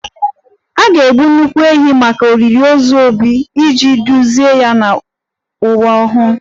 A ga-egbu nnukwu ehi maka olili ozu 'Obi' iji duzie ya n'ụwa mmụọ